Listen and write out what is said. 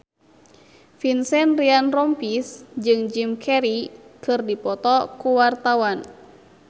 Vincent Ryan Rompies jeung Jim Carey keur dipoto ku wartawan